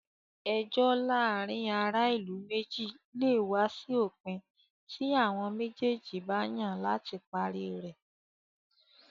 Ẹjọ́ láàárin ará ìlú méjì lè wá sí òpin tí àwọn méjèèjì bá yàn láti parí rẹ̀.